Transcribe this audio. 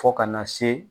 Fo ka na se